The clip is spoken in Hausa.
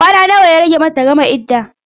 Kwana nawa ya rage mata ta gama idda?